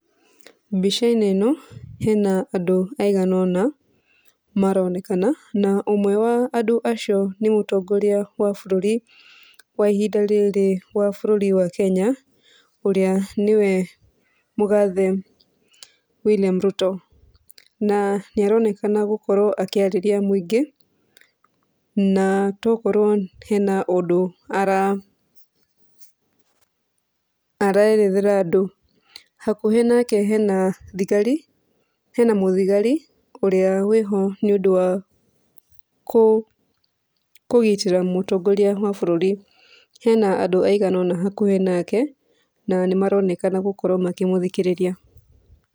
Mbica-inĩ ĩno hena andũ aigana ũna maronekana. Na ũmwe wa andũ acio nĩ mũtongoria wa bũrũri wa ihinda rĩrĩ wa bũrũri wa Kenya ũrĩa nĩwe mũgathe William Ruto. Na nĩaronekana gũkorwo akĩarĩria mũingĩ na to ũkorwo hena ũndũ ararethera andũ. Hakuhĩ nake hena thigari, hena mũthigari ũrĩa wĩho nĩũdũ wa kũgitĩra mũtongoria wa bũrũri. Hena andũ aigana ũna hakuhĩ nake na nĩmaronekana gũkorwo makĩmũthikĩrĩria.